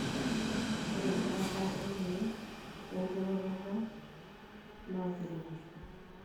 Ore embaata olkeek we nkiroroto na keretisho.